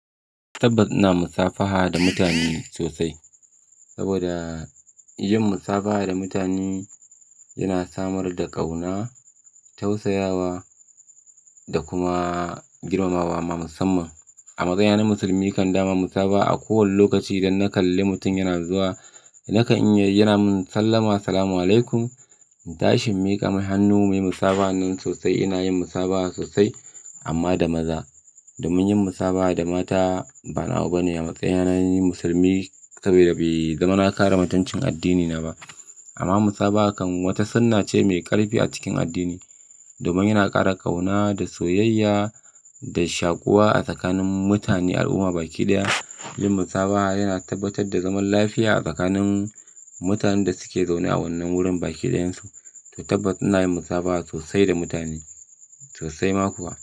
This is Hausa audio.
Tabbas ina musafaha da mutane sosai. Saboda yin musafaha da mutane yana samar da ƙauna, tausayawa da kuma girmamawa ma musamman. A matsayina na musulmi kan dama musafa a kowane lokaci idan na kalle mutum yana zuwa, nakan iya yi yana mun sallama "Assalamu alaikum", in tashi in mika mai hannu, muyi musabahan nan sosai. Ina yin musafaha sosai amma da maza. Domin yin musabaha da mata ba nawa bane a matsayina na ni musulmi saboda bai zama na kare mutuncin addinina ba. Amma musabaha kan wata sunna ce mai ƙarfi a cikin addini, domin yana ƙara ƙauna da soyayya da shakuwa a tsakanin mutane al'umma baki ɗaya. Yin musabaha yana tabbatar da zaman lafiya a tsakanin mutanen da suke zaune a wannan wurin baki ɗayansu, to tabbas ina yin musabaha sosai da mutane, sosai ma kuwa.